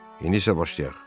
İndi isə başlayaq.